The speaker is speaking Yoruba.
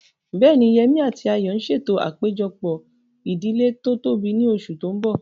Bẹ́ẹ̀ni, Yemí àti Ayọ̀ ń ṣètò àpéjọpọ̀ ìdílé tó tóbi ní oṣù tó mbọ̀